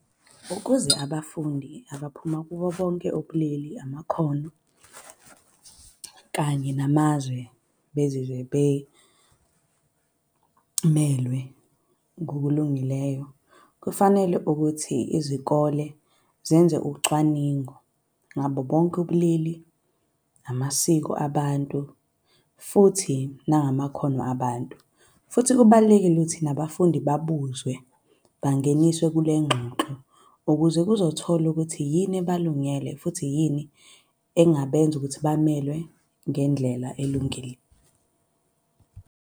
Ukuze abafundi abaphuma kubo bonke ubulili, amakhono, kanye namazwe bezizwe bemelwe ngokulungileyo kufanele ukuthi izikole zenze ucwaningo ngabo bonke ubulili, amasiko abantu, futhi nangamakhono abantu. Futhi kubalulekile ukuthi nabafundi babuzwe, bangeniswa kule ngxoxo ukuze kuzotholwa ukuthi yini ebalungele, futhi yini engabenza ukuthi bamelwe ngendlela elungile.